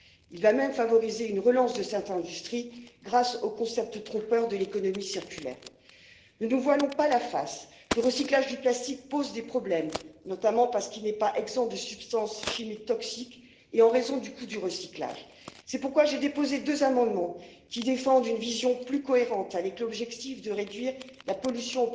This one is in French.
action pour classer les matériaux et surtout action pour veiller à la qualité du recyclage, parce que force est de constater que le plastique recyclé pâtit encore d'une très mauvaise réputation et qu'il est nécessaire de sensibiliser les citoyens à une utilisation plus responsable des plastiques et d'améliorer la qualité des plastiques recyclés. C'est une condition pour les rendre plus attractifs aux yeux des consommateurs.